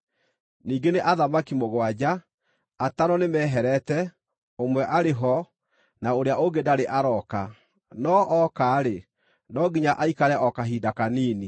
Ningĩ nĩ athamaki mũgwanja. Atano nĩmeherete, ũmwe arĩ ho, na ũrĩa ũngĩ ndarĩ arooka; no ooka-rĩ, no nginya aikare o kahinda kanini.